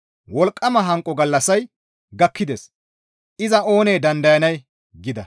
Wolqqama hanqo gallassay gakkides; iza oonee dandayanay?» gida.